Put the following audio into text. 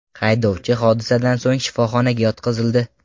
Haydovchi hodisadan so‘ng shifoxonaga yotqizildi.